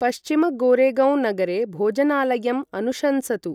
पश्चिम गोरेगौं नगरे भोजनालयम् अनुशंसतु ।